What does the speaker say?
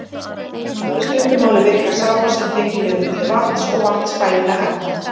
Í stuttu máli virkar sápa sem tengiliður milli vatns og vatnsfælinna efna.